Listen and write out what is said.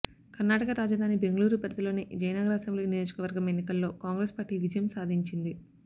కర్ణాటక రాజధాని బెంగళూరు పరిధిలోని జయనగర అసెంబ్లీ నియోజకవర్గం ఎన్నికలో కాంగ్రెస్ పార్టీ విజయం సాధించింది